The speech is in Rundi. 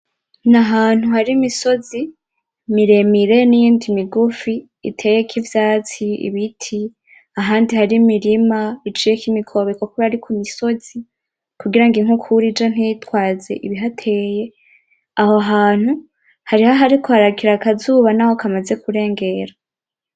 Ni ahantu hari imisozi miremire n'iyindi migufi iteyeko ivyatsi, ibiti ahandi hari imirima iciyeko imikobeko kuberako ari ku misozi kugira ngo inkukura ije ntitwaze ibihateye, aho hantu hariho ahariko harakira akazuba n'aho kamaze kurengera.